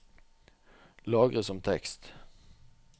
lagre som tekst